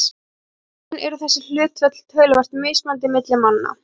En í raun eru þessi hlutföll töluvert mismunandi milli manna.